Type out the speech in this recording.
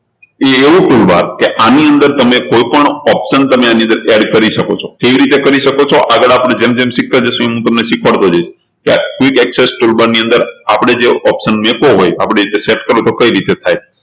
એ એવું toolbar કે આની અંદર તમે કોઈપણ option તમે આની અંદર add કરી શકો છો કેવી રીતે કરી શકો છો આગળ આપણે જેમ જેમ શીખતા જઈશું એમ એમ હું તમને શીખવાડતો જઈશ કે quick access toolbar ની અંદર આપણે જે option મુકવો હોય આપણી રીતે set કરવો હોય તો એ કેવિ રીતે થાય